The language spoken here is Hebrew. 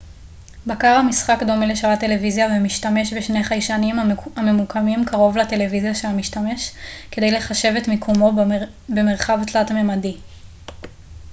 בקר המשחק דומה לשלט טלוויזיה ומשתמש בשני חיישנים הממוקמים קרוב לטלוויזיה של המשתמש כדי לחשב את מיקומו במרחב תלת-ממדי